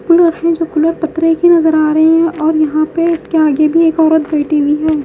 Cooler है जो cooler पत्रे की नजर आ रही है और यहां पे इसके आगे भी एक औरत बैठी हुई है।